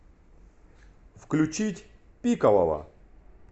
включить пикового